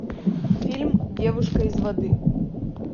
фильм девушка из воды